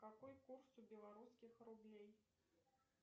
какой курс у белорусских рублей